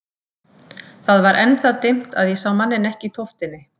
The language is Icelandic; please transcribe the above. Það var enn það dimmt að ég sá manninn ekki í tóftinni.